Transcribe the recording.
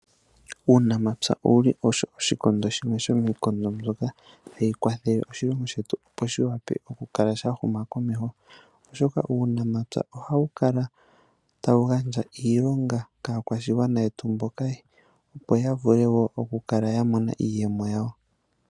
Uunamapya owuli osho oshikondo shimwe shomii kondo mbyoka tayi kwathele oshilongo shetu, opo shi wape oku kala sha huma komeho, oshoka uunamapya ohawu kala tawu gandja iilonga kaa kwashigwana yetu mboka, opo ya vule woo oku kala ya monamo iiyemo yawo.